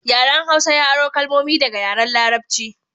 Yaren Hausa ya aro kalmomi daga yaren Larabci